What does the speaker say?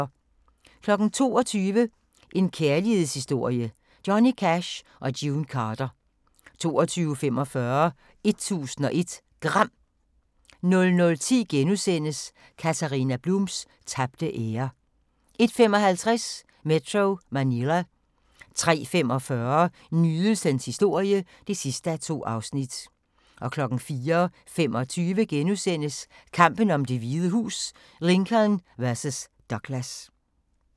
22:00: En kærlighedshistorie – Johnny Cash & June Carter 22:45: 1001 Gram 00:10: Katharina Blums tabte ære * 01:55: Metro Manila 03:45: Nydelsens historie (2:2) 04:25: Kampen om Det Hvide Hus: Lincoln vs. Douglas *